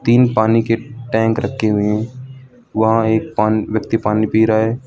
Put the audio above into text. तीन पानी के टैंक रखे हुए हैं वहां एक पान व्यक्ति पानी पी रहा है।